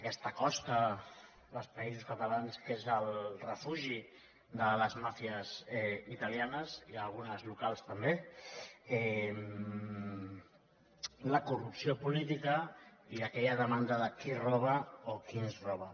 aquesta costa dels països catalans que és el refugi de les màfies italianes i d’algunes de locals també la corrupció política i aquella demanda de qui roba o qui ens roba